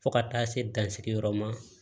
Fo ka taa se dansigi yɔrɔ ma